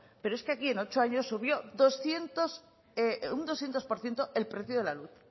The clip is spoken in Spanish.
pero es que aquí en ocho años subió un doscientos por ciento el precio de la luz